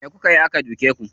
Me kukayi aka dake ku?